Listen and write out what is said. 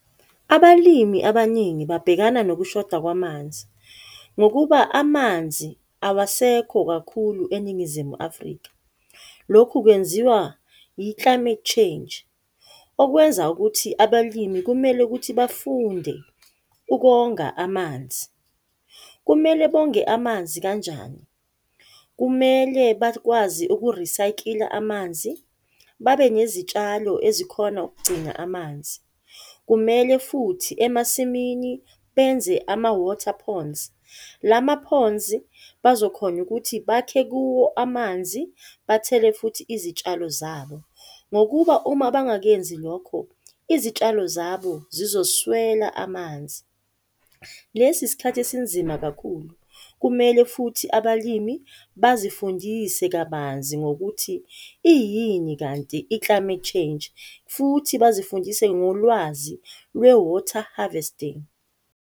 Abalimi abaningi babhekana nokushoda kwamanzi, ngokuba amanzi awasekho kakhulu eNingizimu Afrika. Lokhu kwenziwa i-climate change, okwenza ukuthi abalimi kumele ukuthi bafunde ukonga amanzi. Kumele bonge amanzi kanjani? Kumele bakwazi ukurisakila amanzi, babe nezitshalo ezikhona ukugcina amanzi. Kumele futhi emasimini benze ama-water ponds. Lama-ponds azokhona ukuthi bakhe kuwo amanzi, bathele futhi izitshalo zabo, ngokuba uma bangakenzi lokho izitshalo zabo zizoswela amanzi. Lesi isikhathi esinzima kakhulu kumele futhi abalimi bazifundise kabanzi ngokuthi iyini kanti i-climate change futhi bazifundise ngolwazi lwe-water harvesting.